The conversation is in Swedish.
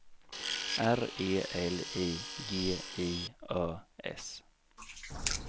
R E L I G I Ö S